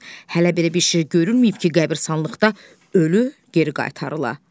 Hələ belə bir şey görünməyib ki, qəbiristanlıqda ölü geri qaytarıla.